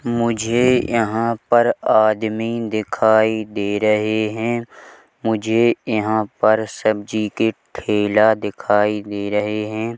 मुझे यहां पर आदमी दिखाय दे रहे है मुझे यहां पर सब्जी के ठेला दिखाई दे रहे है।